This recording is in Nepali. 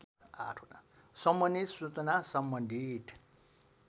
सम्बन्धि सूचना सम्बन्धित